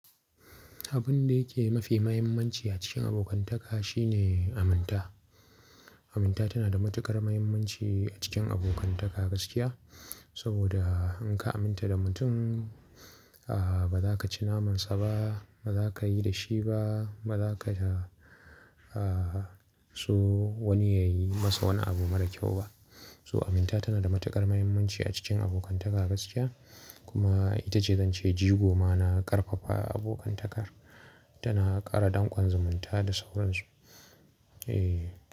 Abun da yake mafi muhimmanci a cikin abokantaka shine aminta. Aminta tana da matukar muhimmanci a cikin abokantaka gaskiya. Saboda in ka aminta da mutum, a ba za ka ci namansa ba, ba za ka yi da shi ba, ba za ka da a so wani ya yi masa wani abu mara kyau ba. To aminta tana da matukar muhimmanci a cikin abokantaka gaskiya kuma ita ce zance jigo ma na ƙarfafa abokantakar. Tana ƙara danƙon zumunta da sauransu. Eh.